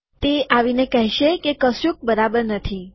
તે આવીને કહેશે કે કશુક બરાબર નથી